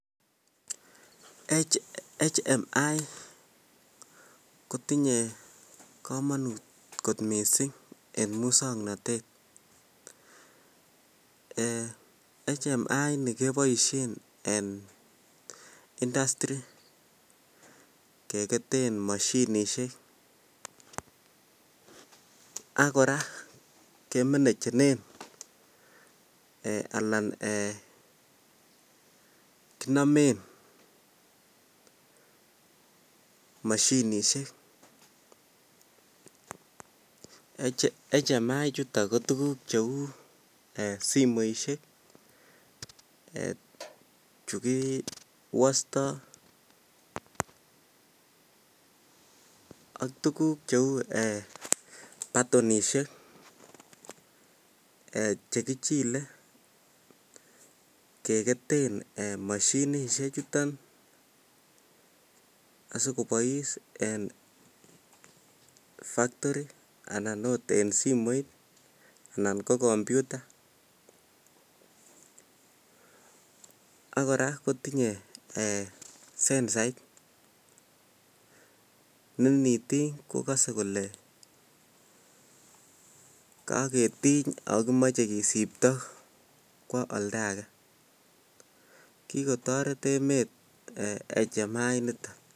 HMI kotinye komanut mising en muksognotet HMI initon keboisien industry ak kora kemaneginen eh alan eeh kinomen machinisiek HMI ichuton ko tuguk cheu simoisiek chikiwostoi ak tuguk cheu batonisiek chkichile kegeten machinisiek chuton as8kobois en factory anan agot en simoit anan ko kompyuta ak kora tinye sensait neinitiny kogose kole kaketiny ago kimoche kisipto kwo olda age kigotoret emet HMI initon